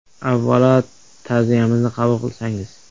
Avvalo ta’ziyamizni qabul qilsangiz.